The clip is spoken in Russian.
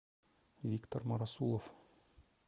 виктор марасулов